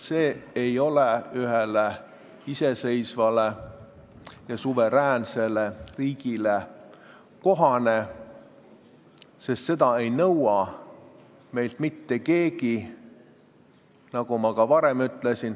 See ei ole iseseisvale ja suveräänsele riigile kohane, sest seda ei nõua meilt mitte keegi, nagu ma ka varem ütlesin.